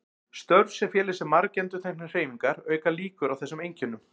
Störf sem fela í sér margendurteknar hreyfingar auka líkur á þessum einkennum.